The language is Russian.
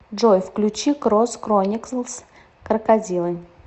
джой включи крос крониклс крокодилы